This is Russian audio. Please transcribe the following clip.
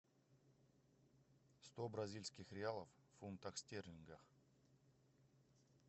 сто бразильских реалов в фунтах стерлингов